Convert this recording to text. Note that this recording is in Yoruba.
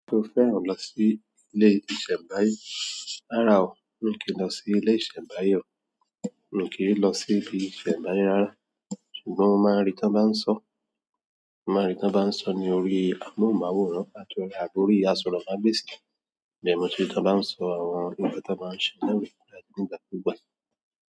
Ṣé o fẹ́ran lọ sí ilé-ìṣẹ̀mbáyé? Rárá o, mi kì n lọ sí ilé ìṣẹ̀mbáyé o. Mi kì í lọ sí ile ìṣẹ̀mbáyé rárá, ṣùgbọ́n mo máa rí tán bá ń sọ̀. Mo máa rí tán bá ń sọ̀ ní orí amóhùnmáwòrán àti orí àwọn orí aṣọromáà gbéèsí. Ibẹ́ẹ̀ nibmo ti n rí tán bá ń sọ àwọn ìwé tí wọ́n bá ń ṣẹ̀ lórí kọ̀mpútà nígbà tó bá yá.